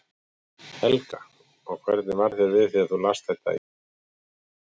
Helga: Og hvernig varð þér við þegar þú last þetta í Fréttablaðinu í dag?